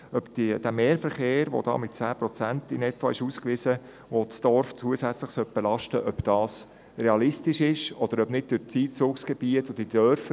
In diesen Studien wurde der Mehrverkehr, der das Dorf zusätzlich belasten soll, mit rund 10 Prozent ausgewiesen.